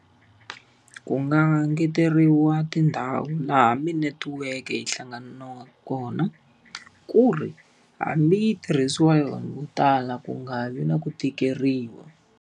Ku nga ngeteriwa tindhawu laha tinetiweke yi hlanganaka kona ku ri, hambi yi tirhisiwa yona vo tala ku nga vi na ku tikeriwa.